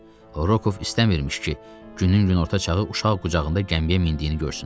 Rokov istəmirmiş ki, günün günorta çağı uşaq qucağında gəmiyə mindiyini görsünlər.